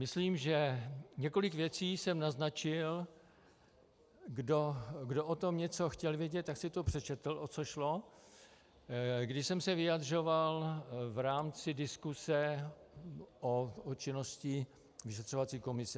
Myslím, že několik věcí jsem naznačil, kdo o tom něco chtěl vědět, tak si to přečetl, o co šlo, když jsem se vyjadřoval v rámci diskuse o činnosti vyšetřovací komise.